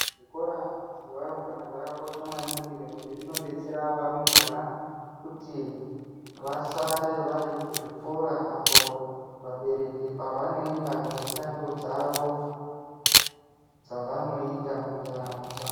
Zvikora zvevarumbwana zvakakosha maningi nekuti zvinodetsera varumbwana kuti vasare vari kuzvikora apo vabereki pavanoenda kumishando dzavo dzavanoita muntaramo dzavo.